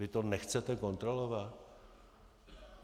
Vy to nechcete kontrolovat?